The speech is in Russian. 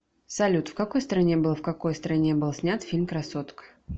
салют в какой стране был в какой стране был снят фильм красотка